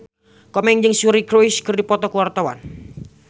Komeng jeung Suri Cruise keur dipoto ku wartawan